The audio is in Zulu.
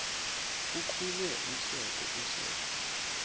kuqhume uhleko uhleko